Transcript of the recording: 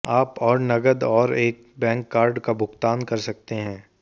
आप और नकद और एक बैंक कार्ड का भुगतान कर सकते हैं